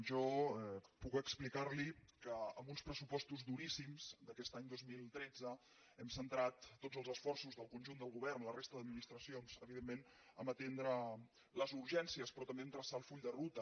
jo puc explicar li que amb uns pressupostos duríssims d’aquest any dos mil tretze hem centrat tots els esforços del conjunt del govern i la resta d’administracions evidentment a atendre les urgències però també a traçar el full de ruta